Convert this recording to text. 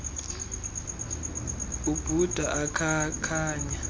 ubugula ubhuda ukhankanya